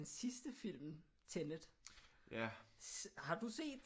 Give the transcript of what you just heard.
Den sidste film Tenet har du set